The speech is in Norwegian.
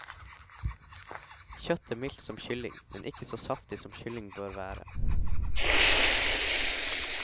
Kjøttet mildt som kylling, men ikke så saftig som kylling bør være.